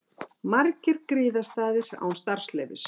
Margir gististaðir án starfsleyfis